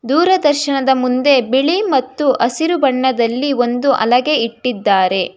ದೂರದರ್ಶನದ ಮುಂದೆ ಬಿಳಿ ಮತ್ತು ಹಸಿರು ಬಣ್ಣದಲ್ಲಿ ಒಂದು ಹಲಗೆ ಇಟ್ಟಿದ್ದಾರೆ.